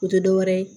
O tɛ dɔwɛrɛ ye